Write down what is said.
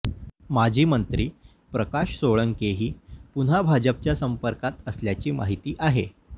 माजी मंत्री प्रकाश सोळंकेही पुन्हा भाजपच्या संपर्कात असल्याची माहिती आहे